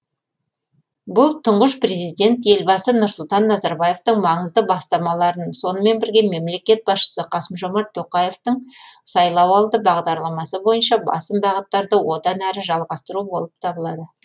бұл тұңғыш президент елбасы нұрсұлтан назарбаевтың маңызды бастамаларын сонымен бірге мемлекет басшысы қасым жомарт тоқаевтың сайлауалды бағдарламасы бойынша басым бағыттарды одан әрі жалғастыру болып табылады